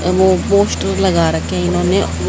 poster लगा रखे हैं इन्होंने--